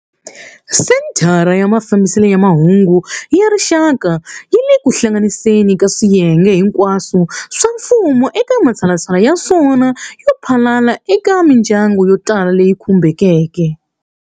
Senthara ya Mafambiselo ya Mahungu ya Rixaka yi le ku hlanganiseni ka swiyenge hinkwaswo swa mfumo eka matshalatshala ya swona yo phalala eka mindyangu yo tala leyi khumbekeke.